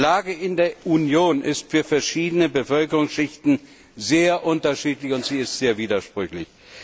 Die Lage in der Union ist für verschiedene Bevölkerungsschichten sehr unterschiedlich, und sie ist sehr widersprüchlich.